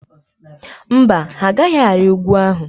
Mba, ha agaghị arị ugwu ahụ.